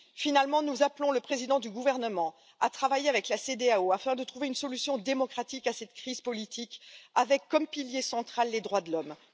Enfin, nous appelons le président à travailler avec la Cedeao afin de trouver une solution démocratique à cette crise politique, avec comme pilier central les droits de l'homme.